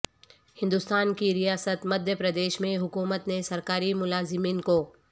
ہندوستان کی ریاست مدھیہ پردیش میں حکومت نے سرکاری ملازمین کو